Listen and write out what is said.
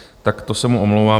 Tak to se mu omlouvám.